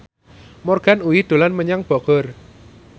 Morgan Oey dolan menyang Bogor